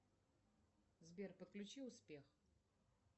сбер подключи успех